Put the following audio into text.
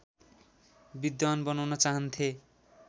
विद्वान् बनाउन चाहन्थे